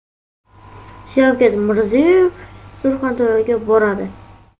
Shavkat Mirziyoyev Surxondaryoga boradi.